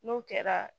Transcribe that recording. N'o kɛra